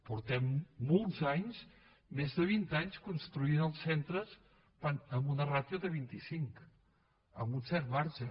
fa molts anys més de vint anys que construïm els centres amb una ràtio de vint i cinc amb un cert marge